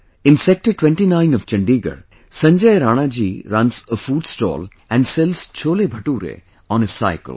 In Sector 29 of Chandigarh, Sanjay Rana ji runs a food stall and sells CholeBhature on his cycle